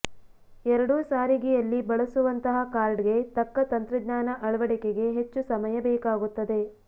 ಎರಡೂ ಸಾರಿಗೆಯಲ್ಲಿ ಬಳಸುವಂತಹ ಕಾರ್ಡ್ಗೆ ತಕ್ಕ ತಂತ್ರಜ್ಞಾನ ಅಳವಡಿಕೆಗೆ ಹೆಚ್ಚು ಸಮಯ ಬೇಕಾಗುತ್ತದೆ